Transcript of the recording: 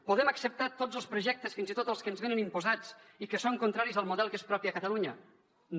podem acceptar tots els projectes fins i tot els que ens venen imposats i que són contraris al model que és propi a catalunya no